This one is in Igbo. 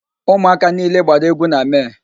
Ụmụaka niile gbara égwú na Mee.